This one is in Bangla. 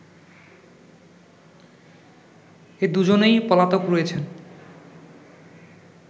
এ দুজনেই পলাতক রয়েছেন